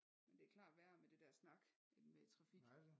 Men det er klart værre med det der snak end med trafik